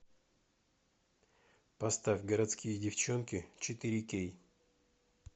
поставь городские девчонки четыре кей